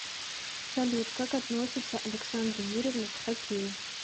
салют как относится александра юрьевна к хоккею